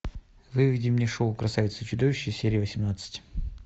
выведи мне шоу красавица и чудовище серия восемнадцать